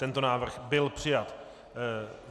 Tento návrh byl přijat.